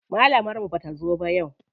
Malamar mu bata zo ba yau.